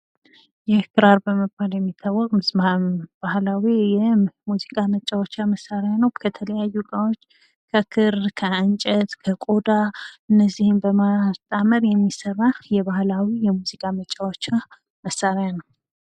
ይህ ክራር በመባል የሚታወቅ መሳሪያ የባህላዊ ሙዚቃ መጫወቻ መሳሪያ ነው። ከተለያዩ እቃዎች ከክር፣ ከእንጨት፣ ከቆዳ እነዚህን በማጣመር የሚሰራ የባህላዊ የሙዚቃ መጫዎቻ መሳሪያ ነው።